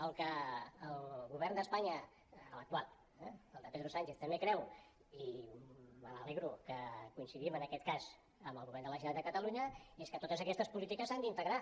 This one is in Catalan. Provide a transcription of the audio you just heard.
el que el govern d’espanya l’actual eh el de pedro sánchez també creu i me n’alegro que coincidim en aquest cas amb el govern de la generalitat de catalunya és que totes aquestes polítiques s’han d’integrar